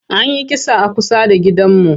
An yi kisa a kusa da gidanmu.